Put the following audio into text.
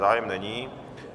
Zájem není.